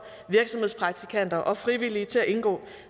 virksomhedspraktikanter og frivillige til at indgå